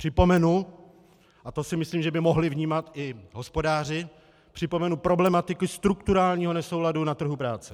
Připomenu, a to si myslím, že by mohli vnímat i hospodáři, připomenu problematiku strukturálního nesouladu na trhu práce.